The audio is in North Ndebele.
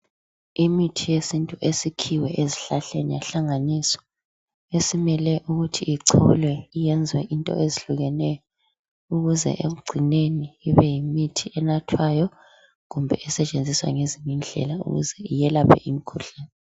Imithi yesintu esikhiwe ezihlahleni yahlanganiswa esimele ukuthi icholwe yenze into ezihlukeneyo ukuze ekucineni ibe yimithi enathwayo kumbe esetshenziswa ngezinye indlela ukuze iyelaphe imikhuhlane.